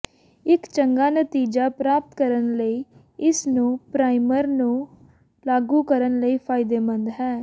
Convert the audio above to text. ਇੱਕ ਚੰਗਾ ਨਤੀਜਾ ਪ੍ਰਾਪਤ ਕਰਨ ਲਈ ਇਸ ਨੂੰ ਪਰਾਈਮਰ ਨੂੰ ਲਾਗੂ ਕਰਨ ਲਈ ਫਾਇਦੇਮੰਦ ਹੈ